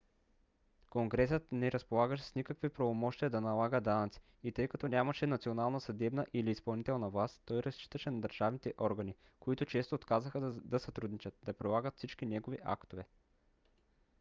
конгресът не разполагаше с никакви правомощия да налага данъци и тъй като нямаше национална съдебна или изпълнителна власт той разчиташе на държавните органи които често отказваха да сътрудничат да прилагат всички негови актове